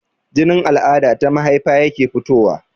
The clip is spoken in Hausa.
Jinin al'ada ta mahaifa yake fitowa